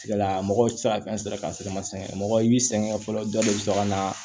Tigilamɔgɔw ti se ka fɛn sira kan sira ma sɛgɛn mɔgɔ i b'i sɛgɛn fɔlɔ dɔw de be sɔn ka na